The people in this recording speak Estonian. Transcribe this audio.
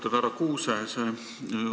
Austatud härra Kuuse!